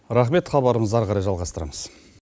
рахмет хабарымызды әрі қарай жалғастырамыз